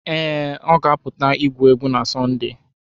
Ee, ọ ga-apụta igwu egwu na Sọnde